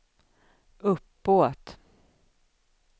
uppåt